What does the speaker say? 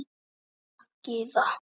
Ólína Gyða.